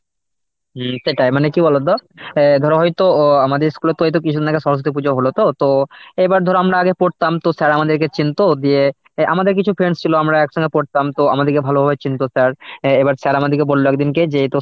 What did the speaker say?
হম সেটাই মানে কি বলতো অ্যাঁ ধরো ওই তো আমাদের school এ ওই তো কিছুদিন আগে সরস্বতী পুজো হল তো তো এবার ধরো আমরা আগে পড়তাম তো sir আমাদেরকে চিনত দিয়ে আমাদের কিছু friends ছিল আমরা একসঙ্গে পড়তাম তো আমাদেরকে ভালোভাবে চিনত sir অ্যাঁ এবার sir আমাদেরকে বলল একদিনকে যে তো